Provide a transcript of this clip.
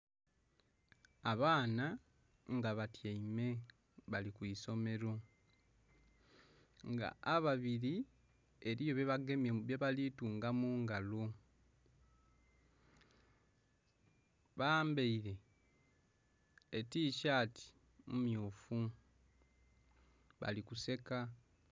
Abaana nga batyaime bali kwisomero nga ababiri eriyo bye bagemye bye bali kutunga mungalo bambaire etisaati mmyufu bali kuseeka.